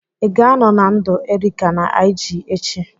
Ị ga-anọ na ndụ Erica na IG echi?